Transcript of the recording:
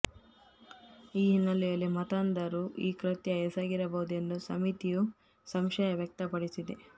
ಈ ಹಿನ್ನೆಲೆಯಲ್ಲಿ ಮತಾಂಧರು ಈ ಕೃತ್ಯ ಎಸಗಿರಬಹುದೆಂದು ಸಮಿತಿಯು ಸಂಶಯ ವ್ಯಕ್ತಪಡಿಸಿದೆ